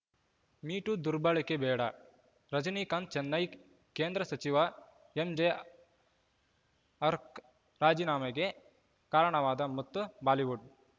me too ದುರ್ಬಳಕೆ ಬೇಡ ರಜನೀಕಾಂತ್‌ ಚೆನ್ನೈ ಕೇಂದ್ರ ಸಚಿವ ಎಂಜೆ ಅರ್ಕ್ ರಾಜೀನಾಮೆಗೆ ಕಾರಣವಾದ ಮತ್ತು ಬಾಲಿವುಡ್‌